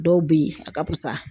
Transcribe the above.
Dɔw bɛ yen, a ka fusa.